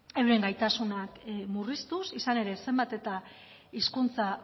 euren gaitasunak murriztuz izan ere zenbat eta hizkuntza